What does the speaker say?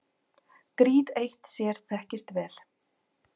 Gríð eitt sér þekkist vel.